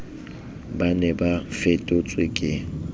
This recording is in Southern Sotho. ba ne ba fetotswe ke